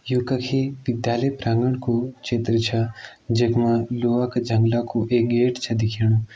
यू कखी विद्यालय प्रांगण कू चित्र छ जखमा लोहा का जंगला कू एक गेट छ दिख्येणु।